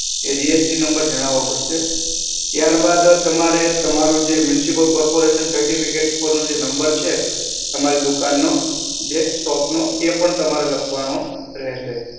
એ GST number જણાવો પડશે. ત્યારબાદ તમારે તમારો જે municipal corporation નો certificate નો જે number છે, તમારી દુકાન નો, જે shop નો એ પણ તમારે લખવાનો રહેશે.